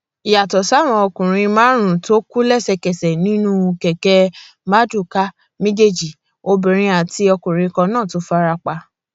yàtọ sáwọn ọkùnrin márùnún tó kú lẹsẹkẹsẹ nínú àwọn kẹkẹ mardukà méjèèjì obìnrin àti ọkùnrin kan náà tún fara pa